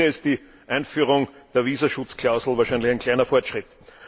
In diesem Sinne ist die Einführung der Visaschutzklausel wahrscheinlich ein kleiner Fortschritt.